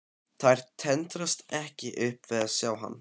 Þær tendrast ekki upp við að sjá hann.